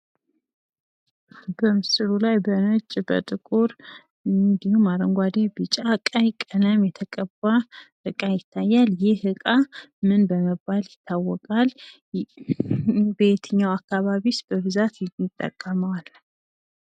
በምስሉ ላይ በነጭ፣ በጥቁር እንዲሁም አረንጓዴ ፣ ቢጫ፣ ቀይ ቀለም የተቀባ እቃ ይታያል ፤ ይህ እቃ ምን በመባል ይታወቃል? በየትኛው አከባቢስ በብዛት እንጠቀመዋለን?